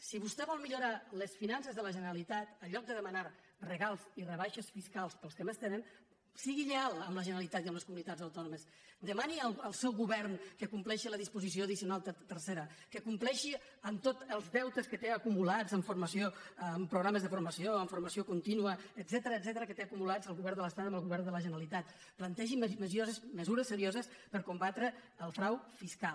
si vostè vol millorar les finances de la generalitat en lloc de demanar regals i rebaixes fiscals per als que més tenen sigui lleial amb la generalitat i amb les comunitats autònomes demani al seu govern que compleixi la disposició addicional tercera que compleixi amb tot els deutes que té acumulats en programes de formació en formació contínua etcètera el govern de l’estat amb el govern de la generalitat plantegi mesures serioses per combatre el frau fiscal